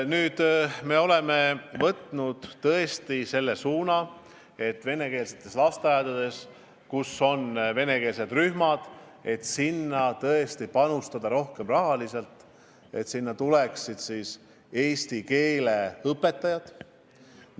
Nüüd me oleme võtnud tõesti selle suuna, et lasteaedadesse, kus on venekeelsed rühmad, panustada rohkem raha, et sinna tuleksid eesti keele õpetajad.